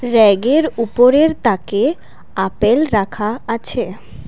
ব়্যাগের উপরের তাকে আপেল রাখা আছে।